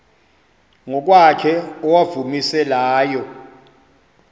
ngokwakhe owawumise layo